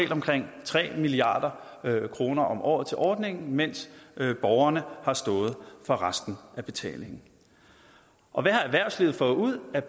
omkring tre milliard kroner om året til ordningen mens borgerne har stået for resten af betalingen og hvad har erhvervslivet fået ud af